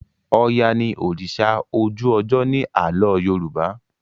oya ní òrìṣà ojú ojo ní Àló̩ yoruba